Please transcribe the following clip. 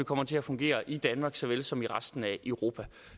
kommer til at fungere i danmark såvel som i resten af europa